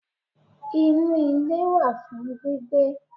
Inú ilé wà fún gbígbé